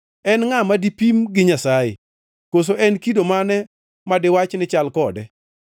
En ngʼa ma dipim gi Nyasaye? Koso en kido mane madiwach ni chal kode?